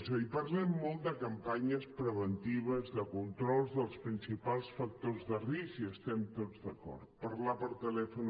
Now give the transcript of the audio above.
és a dir parlem molt de campanyes preventives de controls dels principals factors de risc i hi estem tots d’acord parlar per telèfon